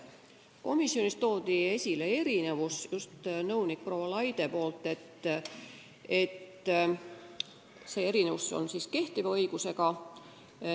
Komisjonis tõi nõunik proua Laide esile, et kehtivas õiguses on teisiti.